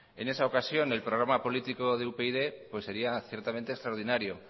en esa ocasión el programa político de upyd pues sería ciertamente extraordinario